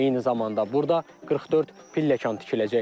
Eyni zamanda burada 44 pilləkan tikiləcək.